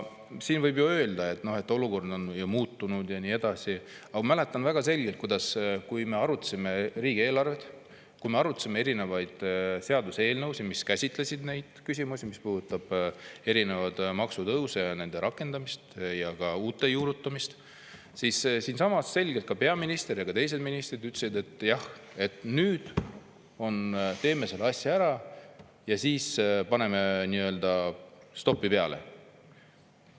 Siin võib ju öelda, et olukord on muutunud ja nii edasi, aga ma mäletan väga selgelt, et kui me arutasime riigieelarvet ja erinevaid seaduseelnõusid, mis käsitlesid neid küsimusi – erinevaid maksutõuse, nende rakendamist ja ka uute juurutamist –, siis siinsamas ka peaminister ja teised ministrid selgelt ütlesid, et jah, nüüd teeme selle asja ära ja siis paneme stopi peale.